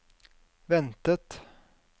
ventet